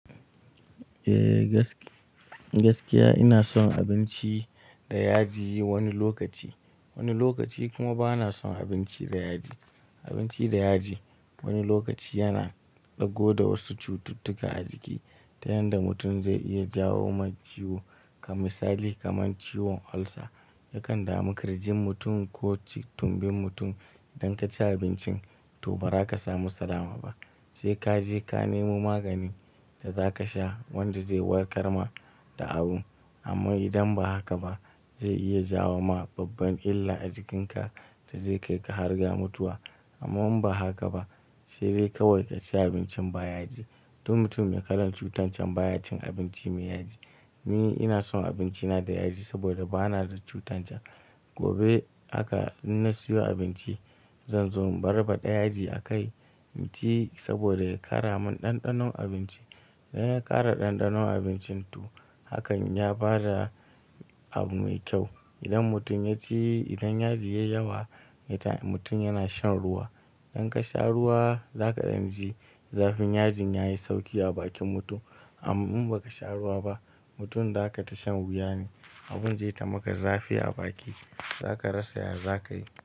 Eh gaskiya ina son abinci da yaji wani lokaci, wani lokaci kuma bana son abinci da yaji. Abinci da yaji wani lokaci yana ɗago da wasu cututtuka a jiki ta yanda mutum zai iya jawo mai ciwo. Kamisali kaman ciwon ulcer yakan dami kirjin mutum ko tumbin mutum. Idan ka ci abincin to ba za ka samu salama ba, sai ka je ka nemo maganin da za ka sha wanda zai warkar ma da abun. Amma idan ba haka ba zai iya jawo ma babban illa a jikinka da zai kai ka har ga mutuwa. Amman ba haka ba sai dai kawai ka ci abincin ba yaji. Duk mutum mai kalan cutar can ba ya cin abinci mai yaji. Ni ina son abinci na da yaji saboda bana da cutar can. Gobe aka-- inna siyo abinci zan zo in barba ɗa yaji a kai, mu ci saboda ya ƙara mun ɗanɗanon abinci. Sai ya ƙara ɗanɗanon abincin to hakan ya bada abu mai kyau. Idan mutum ya ci, idan yaji ya yi yawa, mutum yana shan ruwa. Idan ka sha ruwa za ka san ji zafin yajin yayi sauki a bakin mutum. Amman ba ka sha ruwa ba, mutum za ka shan wuya ne, abin zai tamaka zafi a baki. Za ka rasa ya zakayi.